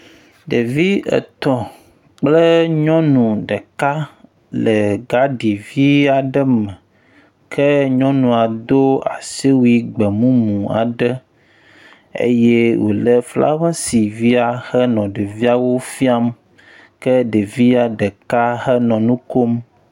Ɖevi etɔ̃ kple nyɔnu ɖeka le gadivi aɖe me ke nyɔnua do asiwui gbe mumu aɖe eye wòlé flawesi via henɔ ɖeviawo fiam ke ɖevia ɖeka hã nɔ nu kom.